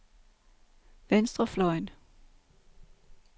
venstrefløjen